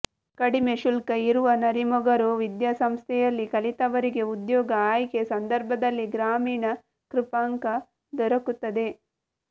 ಕಡಿಮೆ ಶುಲ್ಕ ಇರುವ ನರಿಮೊಗರು ವಿದ್ಯಾಸಂಸ್ಥೆಯಲ್ಲಿ ಕಲಿತವರಿಗೆ ಉದ್ಯೋಗ ಆಯ್ಕೆ ಸಂದರ್ಭದಲ್ಲಿ ಗ್ರಾಮೀಣ ಕೃಪಾಂಕ ದೊರಕುತ್ತದೆ